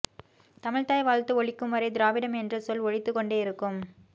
தமிழ்த்தாய் வாழ்த்து ஒலிக்கும் வரை திராவிடம் என்ற சொல் ஒலித்து கொண்டே இருக்கும்